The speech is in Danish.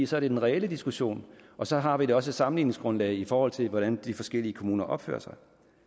så er den reelle diskussion og så har vi også et sammenligningsgrundlag i forhold til hvordan de forskellige kommuner opfører sig